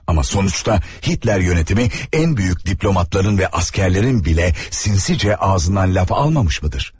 Amma sonuçta Hitler yönetimi ən büyük diplomatların və əsgərlərin belə sinsicə ağzından laf almamışmıdır?